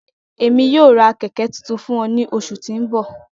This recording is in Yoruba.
Emi yoo ra kẹkẹ tuntun fun ọ ni oṣu ti n bọ.